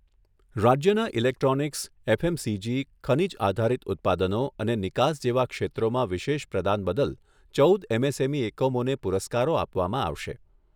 રાજ્યના electronics, FMCG, ખનિજ આધારિત ઉત્પાદનો અને નિકાસ જેવા ક્ષેત્રોમાં વિશેષ પ્રદાન બદલ ચૌદ એમએસએમઈ એકમોને પુરસ્કારો આપવામાં આવશે.